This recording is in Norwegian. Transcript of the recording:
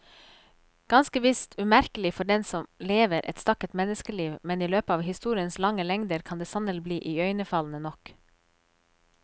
Ganske visst umerkelig for den som lever et stakket menneskeliv, men i løpet av historiens lange lengder kan det sannelig bli iøynefallende nok.